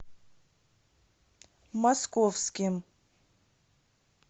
московским